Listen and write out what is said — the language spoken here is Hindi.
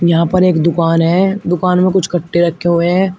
यहां पर एक दुकान है दुकान में कुछ कट्टे रखे हुए हैं।